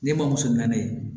Ne bamuso nani